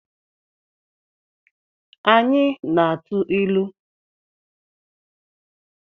Anyị na-atụ ilu